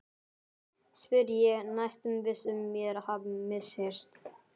spyr ég, næstum viss um mér hafi misheyrst.